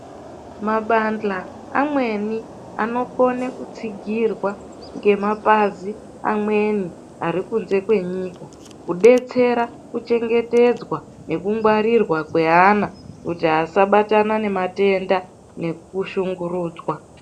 Mabandla amweni anokone kutsigirwa nemapazi amweni ari kunze kwenyika, kudetsera kuchengetedzwa nekungwarirwa kweana, kuti asabatana nematenda, nekushungurudzwa .